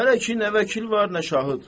Hələ ki nə vəkil var, nə şahid.